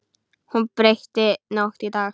Hún breytti nótt í dag.